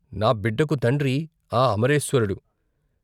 నా బిడ్డకు తండ్రి ఆ అమరేశ్వరుడు.